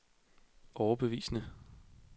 overbevisende